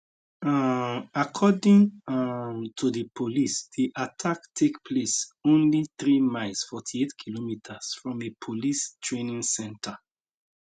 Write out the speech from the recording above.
um according um to di police di attack take place only 3 miles 48km from a police training centre